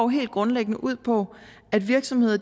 helt grundlæggende ud på at virksomheder